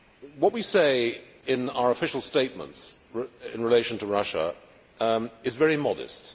What we say in our official statements in relation to Russia is very modest.